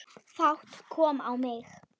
Fát kom á mig.